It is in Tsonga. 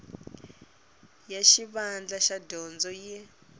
ya xivandla xa dyondzo yi